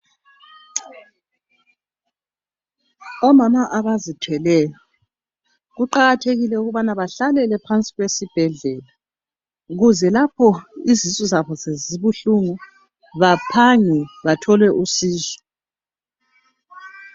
Omama abazithweleyo kuqakathekile ukuthi bahlalele duze lezibhedlela ukuze lapho izisu zabo zibabuhlungu baphange bathole usizo.